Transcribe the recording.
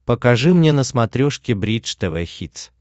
покажи мне на смотрешке бридж тв хитс